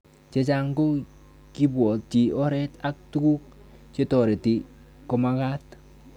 Chechang' ko kiipwotchi oret ak tuguk chetoreti komagat